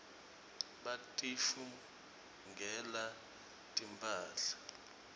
batitfungela timphahla